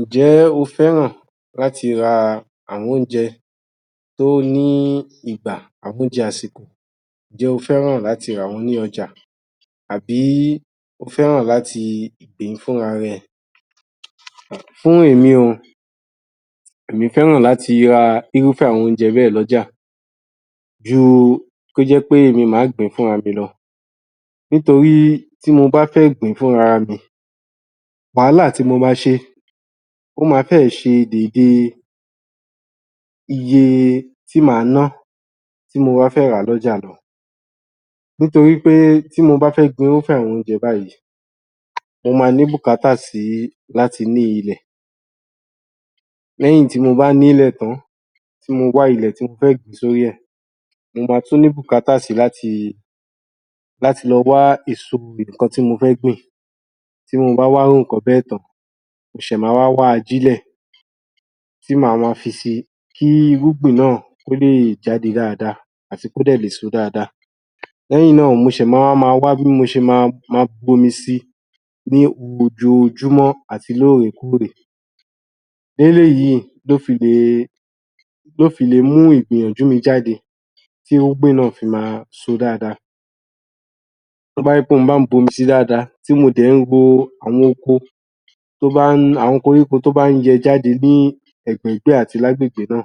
Ǹjẹ́ o fẹ́ràn láti ra àwọn oúnjẹ tí ó ní ìgbà àbi oúnjẹ àṣìkò, ǹjẹ́ o fẹ́ràn láti rà wọ́n ní ọjà àbí o fẹ́ràn láti sè é fún ra rẹ? Fún èmi o, èmi fẹ́ràn láti ra írúfẹ́ àwọn oúnjẹ bẹ́ẹ̀ lọ́jà ju kó jẹ́ pé èmi ni màá gbìn-ín fúnra mi lọ nítorí bí mo bá fẹ́ gbìn-ín fúnra mi, wàhálà tí mo ma ṣe ó ma fẹ́ ẹ̀ ṣe dède iye tí màá ná tí mo bá fẹ́ rà á lọ́jà lọ nítorí pé tí mo bá fẹ́ gbin irúfẹ́ àwọn oúnjẹ báyìí mo máa ní bùkátà sí láti ní ilẹ̀, léyìn tí mo bá nílẹ̀ tán tí mo wá ilẹ̀ tí mo kọ ebè sih orí i rẹ̀, mo ma tún ní bùkátà si láti láti lọ wá èso ọ̀gbìn ohun ti mo fẹ́ gbìn léyìn tí mo bá wá irú nǹkan bẹ́ẹ̀ tán, mo ṣẹ̀ ma wá wá ajílẹ̀, tí màá máa fisi kí irúgbìn náà, kí ó lè jáde dáadáa àti kí ó dẹ̀ lè so dáadáa lẹ́yìn náà ni mo ṣẹ̀ ma wá máa wá bí mo ṣe máa bomi sí i ní ojoojúmọ́ àti ní òòrèkóòrè, e eléyìí ni ó fi lè mú ìgbìnyànjú mi jáde tí irúgbìn náà fi máa ṣo dáadáa, tí ó bá jẹ́ pé mo bá ń bomi sí i dáadáa tí mo dẹ̀ ń ro àwọn koríko tí ó bá ń yọ jáde ní ẹ̀gbẹ̀ẹ̀gbẹ́ àti lagbègbè náà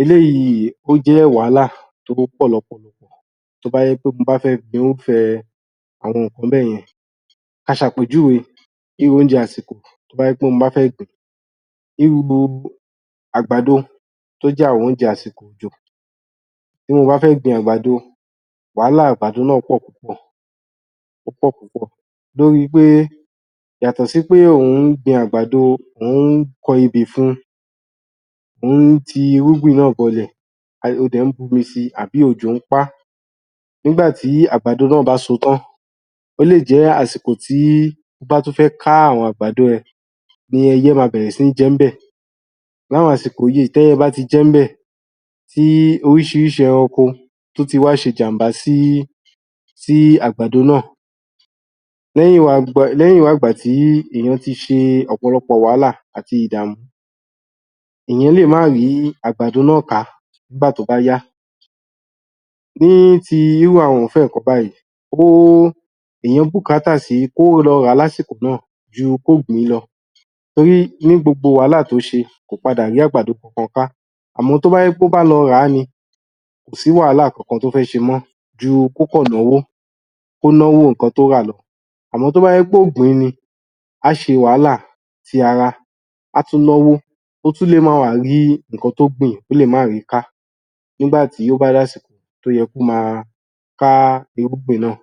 eléyìí ó jẹ́ wàhálà tí ó pọ̀ lọ́pọ̀ tí ó bá jẹ́ wí pé mo fẹ́ gbin irúfẹ́ àwọn nǹkan báyẹn, a ṣe àpèjúwe bí oúnjẹ àsìkò tí ó bá jẹ́ wí pé mo fẹ́ gbìn, nínú gbogbo oúnjẹ àgbàdo tó jẹ́ àwọn oúnjẹ àṣìkò òjò tí mo bá fé gbin àgbàdo, wàhálà àgbàdo náà pọ̀ púpọ̀, lórí pé; yàtọ̀ sí pé ò ń gbin àgbàdo, ò ń ko ebè fún-un ò ń ti irúgbìn náà bọlẹ̀, o dẹ̀ ń bomi sí i àbí òjò ń pa á nígbà tí àgbàdo náà bá so tán, ó lè jẹ́ àṣìkò tí o bá tún fẹ́ ká àwọn àgbàdo yẹn ni ẹyẹ ma bẹ̀rẹ̀ sí ní jẹ níbẹ̀ ní àwọn àsìkò yìí tí ẹyẹ bá ti jẹ níbẹ̀ tí oríṣiríṣi ẹranko ti wá ṣe ìjàm̀bá sí àgbàdo náà ẹ́yìn wá ìgbà tí ènìyà ti ṣe ọ̀pọ̀lọpọ̀ wàhálà àti ìdàmú ènìyàn lè má rí àgbàdo náà ká nígbà tó bá yá ní ti irúfẹ́ àwọn nǹkan báyìí enìyàn bùkátà si ju kí ó lọ rà á ní àsìkò náà ju kí ó gbìn-ín lọ, nítorí nínú gbogbo wàhálà tí ó ṣe kò padà rí àgbàdo kankan ká, àmọ́ tí ó bá jẹ́ pé ó bá lọ rà á ni k kò ní sí wàhálà kankan tí ó fẹ́ ṣe mọ́ ju kí ó kàn náwó nǹkan tí ó rà lọ àmọ́ tí ó bá jẹ́ pé ó gbìn-ín ni á ṣe wàhálà ti ara, á tún náwó, ó tún le máa wà á rí nǹkan tí ó gbìn, ó lè má rí i ká nígbà tí ó bá di àsìkò tí ó yẹ kí ó máa ká irúgbìn náà.